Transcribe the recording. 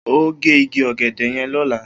O óò gé igi ò̩gè̩dè̩ ye̩n ló̩la!